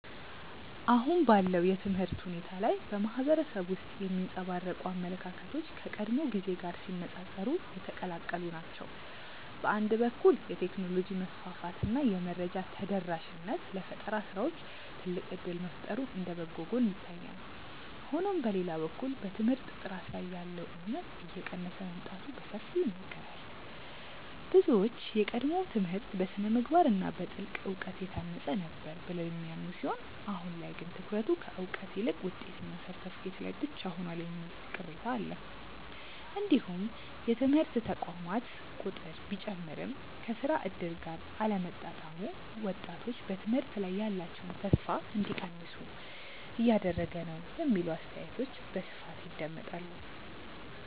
አሁን ባለው የትምህርት ሁኔታ ላይ በማህበረሰቡ ውስጥ የሚንጸባረቁ አመለካከቶች ከቀድሞው ጊዜ ጋር ሲነፃፀሩ የተቀላቀሉ ናቸው። በአንድ በኩል የቴክኖሎጂ መስፋፋት እና የመረጃ ተደራሽነት ለፈጠራ ስራዎች ትልቅ እድል መፍጠሩ እንደ በጎ ጎን ይታያል። ሆኖም በሌላ በኩል በትምህርት ጥራት ላይ ያለው እምነት እየቀነሰ መምጣቱ በሰፊው ይነገራል። ብዙዎች የቀድሞው ትምህርት በስነ-ምግባር እና በጥልቅ እውቀት የታነጸ ነበር ብለው የሚያምኑ ሲሆን አሁን ላይ ግን ትኩረቱ ከእውቀት ይልቅ ውጤትና ሰርተፍኬት ላይ ብቻ ሆኗል የሚል ቅሬታ አለ። እንዲሁም የትምህርት ተቋማት ቁጥር ቢጨምርም ከስራ እድል ጋር አለመጣጣሙ ወጣቶች በትምህርት ላይ ያላቸውን ተስፋ እንዲቀንሱ እያደረገ ነው የሚሉ አስተያየቶች በስፋት ይደመጣሉ።